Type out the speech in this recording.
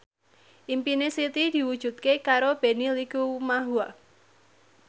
impine Siti diwujudke karo Benny Likumahua